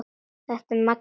Þetta er Maggi!